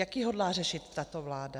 Jak ji hodlá řešit tato vláda?